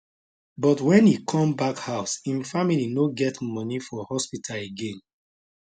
but wen e come back house im family no get money pay for hospital again